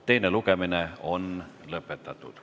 Teine lugemine on lõpetatud.